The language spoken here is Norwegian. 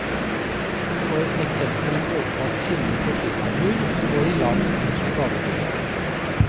For eksempel en båtlast finner på firmatur, som går i land ved badebryggen.